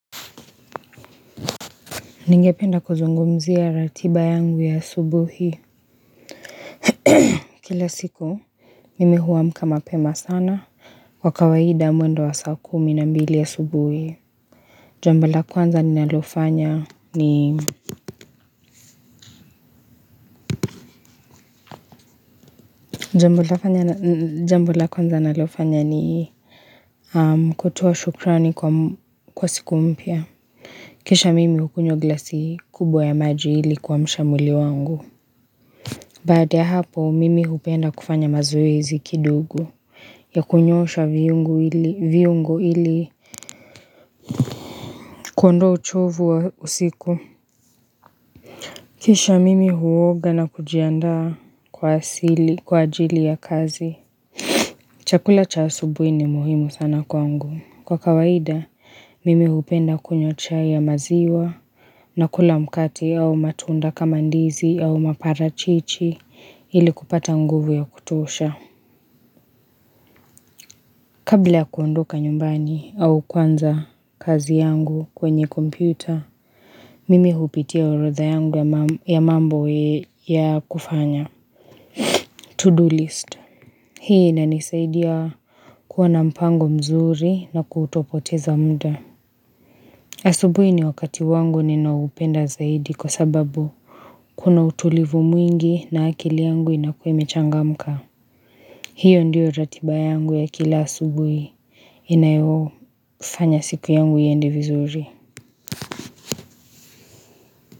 Ningependa kuzungumzia ratiba yangu ya asubuhi Kila siku Mimi huwamka mapema sana Kwa kawaida mwendo wa saa kumi na mbili asubuhi Jambo la kwanza nalofanya ni Jambo la kwanza nalofanya ni kutoa shukrani kwa siku mpya Kisha mimi hukunywa glasi kubwa ya maji ili kuamsha mwili wangu Baada ya hapo, mimi hupenda kufanya mazoezi kidogo ya kunyosha viungo ili kondoa uchovu wa usiku. Kisha mimi huoga na kujianda kwa ajili ya kazi. Chakula cha asubuhi ni muhimu sana kwangu. Kwa kawaida, mimi hupenda kunywa chai ya maziwa na kula mkate au matunda kama ndizi au maparachichi ili kupata nguvu ya kutosha. Kabla kuondoka nyumbani au kuanza kazi yangu kwenye kompyuta, mimi hupitia orodha yangu ya mambo ya kufanya. Tuduu listi. Hii ina nisaidia kuwa na mpango mzuri na kutopoteza muda. Asubuhi ni wakati wangu ninao upenda zaidi kwa sababu kuna utulivu mwingi na akili yangu inakuwa ime changamka. Hiyo ndiyo ratiba yangu ya kila asubuhi inayo fanya siku yangu iende vizuri.